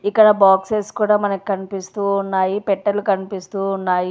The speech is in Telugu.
ఇక్కడ బాక్సెస్ కూడా మనకు కన్పిస్తూ ఉన్నాయి పెట్టెలు కన్పిస్తూ ఉన్నాయి.